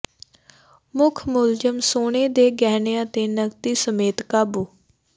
ਮੁਖ ਮੁਲਜ਼ਮ ਸੋਨੇ ਦੇ ਗਹਿਣਿਆਂ ਤੇ ਨਕਦੀ ਸਮੇਤ ਕਾਬੂ